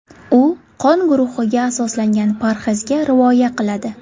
U qon guruhiga asoslangan parhezga rioya qiladi.